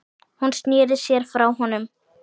Hún sneri sér frá honum.